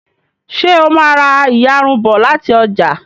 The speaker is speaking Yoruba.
ṣe o má rá iyarun bó láti ọjà